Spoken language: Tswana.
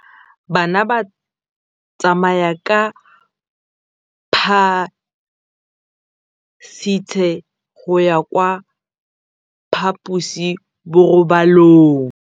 Bana ba tsamaya ka phašitshe go ya kwa phaposiborobalong.